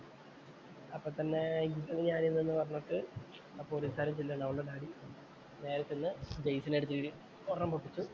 അപ്പൊ തന്നെ പറഞ്ഞിട്ട് ആ പോലീസുകാരന്‍ ചെല്ലുകയാണ്. അവളുടെ നേരെ ചെന്ന് ജയ്സണിന്‍റെ അടുത്തു പോയി ഒരെണ്ണം പൊട്ടിച്ചു.